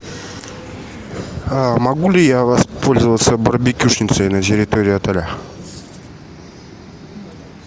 могу ли я воспользоваться барбекюшницей на территории отеля